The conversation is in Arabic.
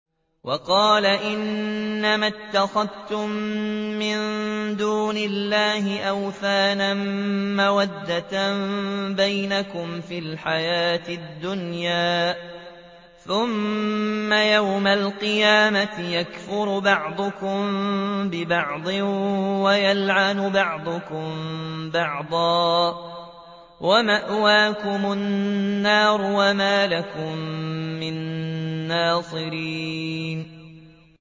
وَقَالَ إِنَّمَا اتَّخَذْتُم مِّن دُونِ اللَّهِ أَوْثَانًا مَّوَدَّةَ بَيْنِكُمْ فِي الْحَيَاةِ الدُّنْيَا ۖ ثُمَّ يَوْمَ الْقِيَامَةِ يَكْفُرُ بَعْضُكُم بِبَعْضٍ وَيَلْعَنُ بَعْضُكُم بَعْضًا وَمَأْوَاكُمُ النَّارُ وَمَا لَكُم مِّن نَّاصِرِينَ